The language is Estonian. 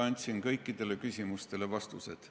Andsin kõikidele küsimustele vastused.